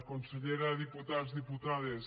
consellera diputats diputades